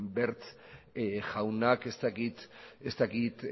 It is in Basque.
wert jaunak ez dakit